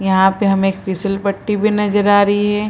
यहाँ पे हमें एक फीसल पट्टी भी नजर आ रही है ।